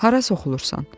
Hara soxulursan?